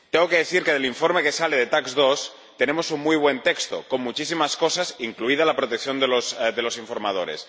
Tengo que decir que del informe que sale de la Comisión TAXE 2 tenemos un muy buen texto con muchísimas cosas, incluida la protección de los informadores.